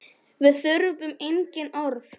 Við þurfum engin orð.